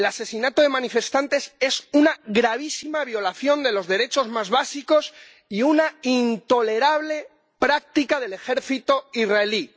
El asesinato de manifestantes es una gravísima violación de los derechos más básicos y una intolerable práctica del ejército israelí.